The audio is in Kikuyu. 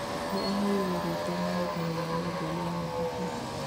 Nĩaheiruo rĩtwa mũhotani wa Nobel ya mathabu